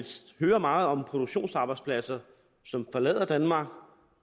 hører meget om produktionsarbejdspladser som forlader danmark